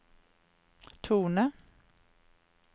tone